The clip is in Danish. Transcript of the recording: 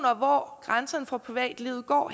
om hvor grænserne for privatlivet går